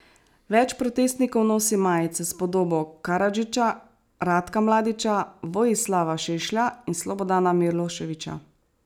Več protestnikov nosi majice s podobo Karadžića, Ratka Mladića, Vojislava Šešlja in Slobodana Miloševića.